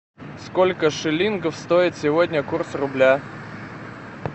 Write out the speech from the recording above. сколько шиллингов стоит сегодня курс рубля